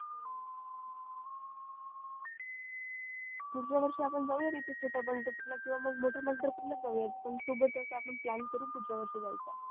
पुढच्या वर्षी आपण जाऊ या छोट्या पंढरपूर ला किवा मग मोठ्या पंढरपूर लाच जाऊया पण सोबतच plan करू सोबत जायचा